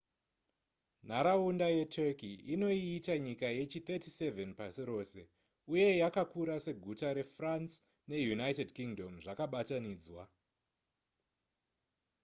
nharaunda yeturkey inoiita nyika yechi37 pasi rose uye yakakura seguta refrance neunited kingdom zvakabatanidzwa